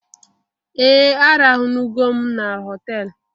Ee! Arahụnugo m na họtelu.